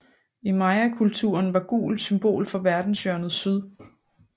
I mayakulturen var gul symbol for verdenshjørnet syd